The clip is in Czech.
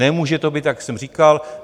Nemůže to být, jak jsem říkal...